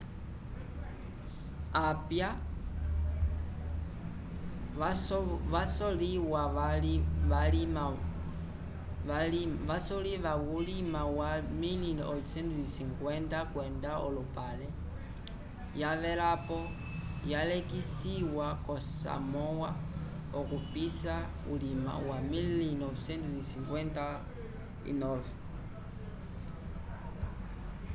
apia yasovoliwa vulima wa 1850 kwenda olupale yavelapo yalekisiwa yo samoa okupisa ulima 1959